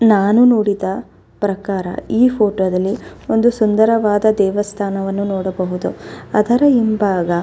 ನಾನು ನೋಡಿದ ಪ್ರಕಾರ ಈ ಫೋಟೋ ದಲ್ಲಿ ಒಂದು ಸುಂದರವಾದ ದೇವಸ್ಥಾನವನ್ನು ನೋಡಬಹುದು ಅದರ ಹಿಂಭಾಗ --